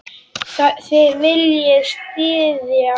Þið viljið styðja fólk.